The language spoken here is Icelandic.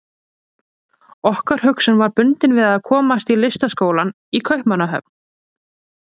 Okkar hugsun var bundin við að komast í Listaskólann í Kaupmannahöfn.